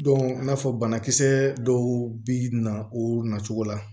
i n'a fɔ banakisɛ dɔw bi na o nacogo la